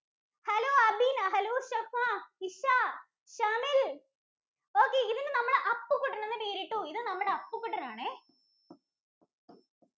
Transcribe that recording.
Hello Abeena. hello Shefa, Isha, Shamil‍ Okay ഇതിന് നമ്മൾ അപ്പുകുട്ടന്‍ എന്ന് പേരിട്ടു. ഇത് നമ്മളുടെ അപ്പുകുട്ടന്‍ ആണേ.